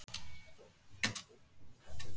Okkur finnst margt vera að.